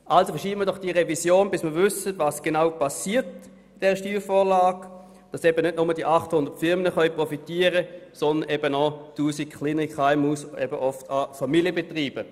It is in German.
Also verschieben wir doch diese Revision, bis wir wissen, was genau durch diese Steuervorlage geschehen wird, damit nicht nur die 800 Firmen profitieren, sondern auch 1000 kleinere KMUs und oft auch Familienbetriebe.